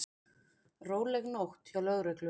Róleg nótt hjá lögreglu